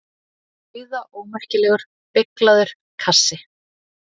Nauðaómerkilegur, beyglaður kassi!